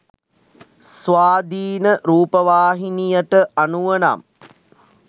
ස්වාධීන රූපවාහිනියට අනුව නම්